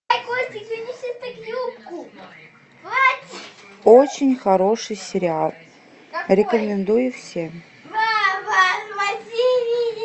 очень хороший сериал рекомендую всем